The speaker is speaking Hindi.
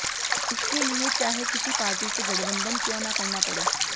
इसके लिए चाहे किसी पार्टी से गठबंधन क्यों न करना पड़े